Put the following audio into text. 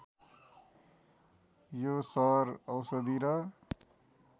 यो सहर औषधि र